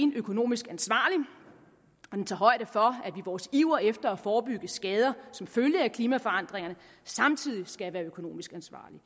økonomisk ansvarlig den tager højde for at vores iver efter at forebygge skader som følge af klimaforandringerne samtidig skal være økonomisk ansvarlige